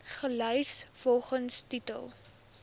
gelys volgens titel